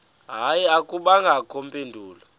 hayi akubangakho mpendulo